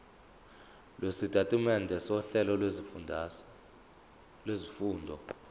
lwesitatimende sohlelo lwezifundo